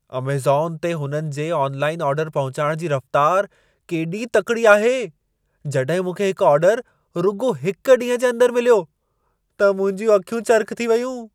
Amazon ते हुननि जे ऑनलाइन ऑर्डर पहुचाइण जी रफ़्तार केॾी तकिड़ी आहे! जॾहिं मूंखे हिकु ऑर्डर रुॻो हिक ॾींहं जे अंदर मिलियो, त मुंहिंजूं अखियूं चरिख़ थी वयूं।